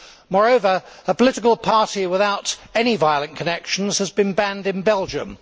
Moreover, a political party without any violent connections has been banned in Belgium.